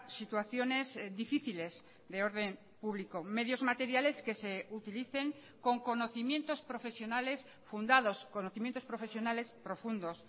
situaciones difíciles de orden público medios materiales que se utilicen con conocimientos profesionales fundados conocimientos profesionales profundos